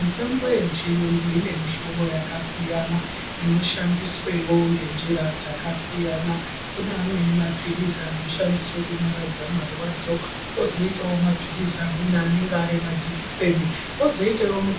Mitombo yechiyungu ine mihlombo yakasiyana inoshandiswewo ngenjira dzakasiyana kune amweni mapilizi anoshandiswe kunyaradza marwadzo, kwozoitawo mapilizi amweni anenge arimajekiseni, kwozoitawo imweni